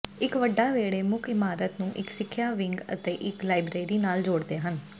ਇਕ ਵੱਡਾ ਵਿਹੜੇ ਮੁੱਖ ਇਮਾਰਤ ਨੂੰ ਇਕ ਸਿੱਖਿਆ ਵਿੰਗ ਅਤੇ ਇਕ ਲਾਇਬਰੇਰੀ ਨਾਲ ਜੋੜਦੇ ਹਨ